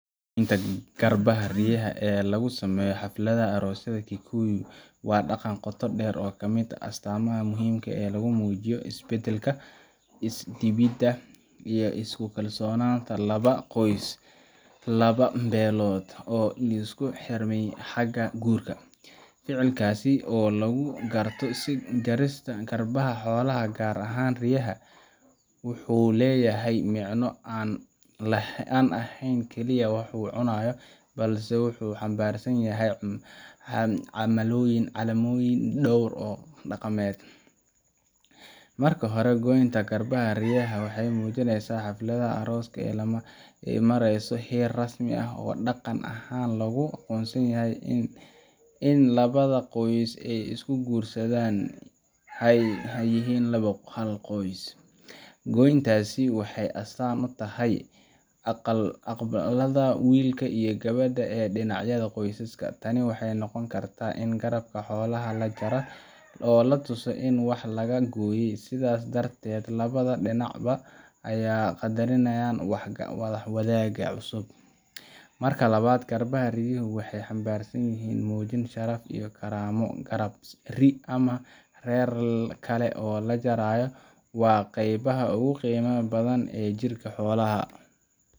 Goynta garbaha riyaha ee lagu sameeyo xafladaha aroosyada Kikuyu waa dhaqan qoto dheer leh oo ka mid ah astaamaha muhiimka ah ee lagu muujiyo is-beddelka, is-dhiibidda iyo isu-kalsoonaanta laba qoys ama laba beelood oo isku xirmaya xagga guurka. Ficilkaas oo lagu garto sidii jarista garbaha xoolaha – gaar ahaan riyaha – wuxuu leeyahay micno aan ahayn kaliya wax lagu cunayo, balse wuxuu xambaarsan yahay calaamooyin dhowr ah oo dhaqameed. Marka hore, goynta garbaha riyaha waxay muujinaysaa in xafladda arooska ay marayso heer rasmi ah oo dhaqan ahaan lagu aqoonsanayo in labada qoys ee is-guursanaya ay hadda yihiin hal qoys. Goyntaasi waxay astaan u tahay aqbalaadda wiilka iyo gabadha ee dhinacyada qoysaska. Tani waxay noqon kartaa in garabka xoolaha la jarayo oo la tusayo in wax laga gooyey, sidaas darteedna labada dhinacba ay qaddarinayaan wax-wadaagta cusub. Marka labaad, garbaha riyaha waxay xambaarsan yihiin muujin sharaf iyo karaamo ah. Garabka ri’ ama neef kale oo la jaro waa qeybaha ugu qiimaha badan ee jirka xoolaha,